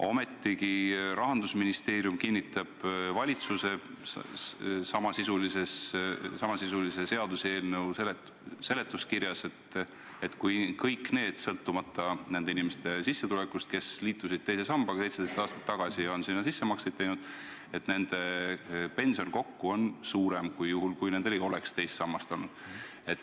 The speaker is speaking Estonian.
Ometigi Rahandusministeerium kinnitab valitsuse samasisulise seaduseelnõu seletuskirjas, et kõik need inimesed, kes liitusid 17 aastat tagasi teise sambaga ja on sinna sissemakseid teinud, saavad sõltumata oma sissetulekust kokku suuremat pensioni, kui nad saanuks juhul, kui nendel ei oleks teist sammast olnud.